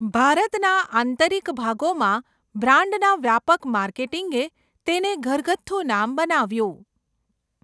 ભારતના આંતરિક ભાગોમાં બ્રાન્ડના વ્યાપક માર્કેટિંગે તેને ઘરગથ્થુ નામ બનાવ્યું.